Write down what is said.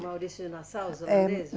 Maurício de Nassau. É. Os holandeses?